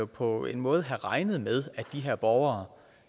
på en måde have regnet med at de her borgere